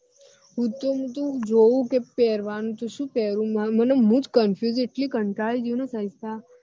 મુ તો બધું જોવું તો કે પેરવાનું તો શું પેરુ મુ જ confiuse જ એટલી કંટાળી ગઈ હું નૈ